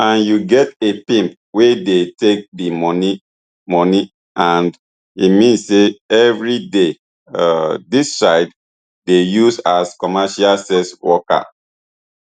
and you get a pimp wey dey take di money money and e mean say every day um dis child dey used as commercial sex worker